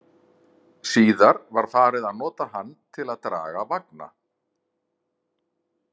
Síðar var farið að nota hann til að draga vagna.